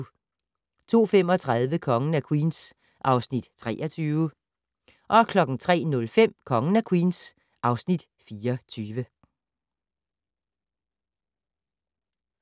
02:35: Kongen af Queens (Afs. 23) 03:05: Kongen af Queens (Afs. 24)